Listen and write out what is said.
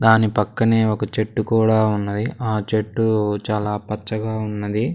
దాని పక్కనే ఒక చెట్టు కూడా ఉన్నది ఆ చెట్టు చాలా పచ్చగా ఉన్నది.